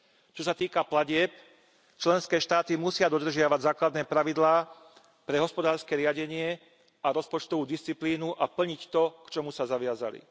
Čo sa týka platieb, členské štáty musia dodržiavať základné pravidlá pre hospodárske riadenie a rozpočtovú disciplínu a plniť to, k čomu sa zaviazali.